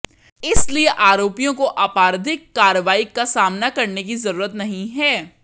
इसलिए आरोपियों को आपराधिक कार्रवाई का सामना करने की जरुरत नहीं है